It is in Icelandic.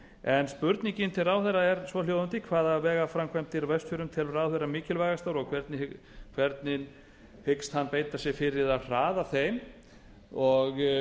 en spurningin til ráðherra er svohljóðandi hvaða vegaframkvæmdir á vestfjörðum telur ráðherra mikilvægastar og hvernig hyggst hann beita sér fyrir að hraða þeim og